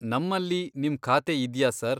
ನಮ್ಮಲ್ಲಿ ನಿಮ್ ಖಾತೆ ಇದ್ಯಾ, ಸರ್?